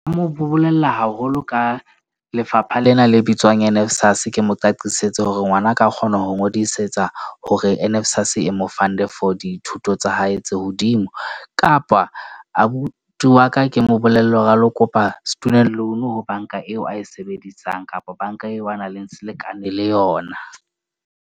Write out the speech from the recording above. Mo bolella haholo ka lefapha lena le bitswang NSFAS. Ke mo qaqileng setse hore ngwana a ka kgona ho ngodisetsa hore Nsfas e mo fund-e for dithuto tsa hae tse hodimo, kapa abuti wa ka ke mo bolelle hore a lo kopa student loan-u ho bank-a eo a e sebedisang kapa bank-a eo a nang le selekane le yona.